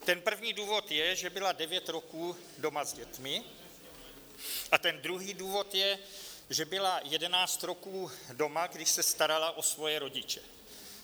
Ten první důvod je, že byla devět roků doma s dětmi, a ten druhý důvod je, že byla 11 roků doma, když se starala o svoje rodiče.